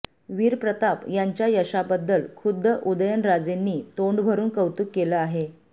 वीरप्रताप यांच्या यशाबद्दल खुद्द उदयनराजेंनी तोंडभरुन कौतुक केलं आहे